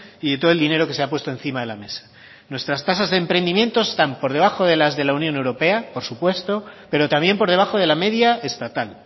y de todo el dinero que se ha puesto encima de la mesa nuestras tasas de emprendimiento están por debajo de las de la unión europea por supuesto pero también por debajo de la media estatal